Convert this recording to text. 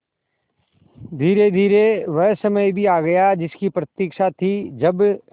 धीरेधीरे वह समय भी आ गया जिसकी प्रतिक्षा थी जब